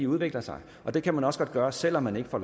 udvikler sig og det kan man også godt gøre selv om man ikke får